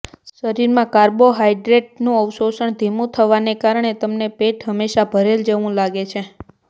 શરીરમાં કાર્બોહાઈડ્રેટ નું અવશોષણ ધીમુ થવાને કારણે તમને પેટ હમેશા ભરેલ જેવું લાગે છે